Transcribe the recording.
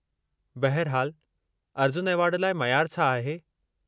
बहिरहालु, अर्जुन एवार्डु लाइ मयार छा आहे?